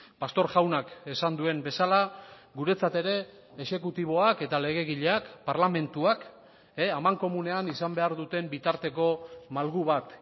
pastor jaunak esan duen bezala guretzat ere exekutiboak eta legegileak parlamentuak amankomunean izan behar duten bitarteko malgu bat